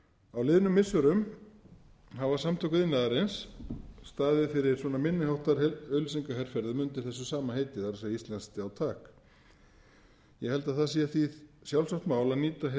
á liðnum missirum hafa samtök iðnaðarins staðið fyrir minni háttar auglýsingaherferðum undir sama heiti það er íslenskt já takk ég held að það sé því sjálfsagt mál að nýta hið